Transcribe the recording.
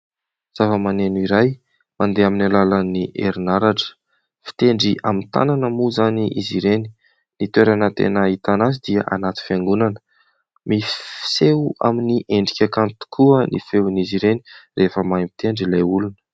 Zava-maneno iray mandeha amin'ny alalan'ny herinaratra, fitendry amin'ny tanana moa izany izy ireny, ny toerana tena ahitana azy dia anaty fiangonana, misy fiseho amin'ny endrika kanto tokoa ny feon'izy ireny rehefa mahay mitendry ilay olona.